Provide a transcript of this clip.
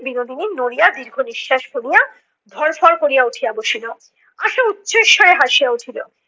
বিনীদিনী নড়িয়া দীর্ঘনিঃশ্বাস ফেলিয়া ধরফর করিয়া উঠিয়া বসিলো। আশা উচ্চৈঃস্বরে হাসিয়া উঠিলো